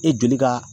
E joli ka